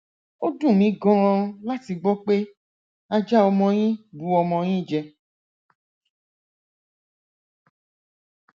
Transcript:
ó dùn mí ganan láti gbọ pé ajá ọmọ yín bu ọmọ yín jẹ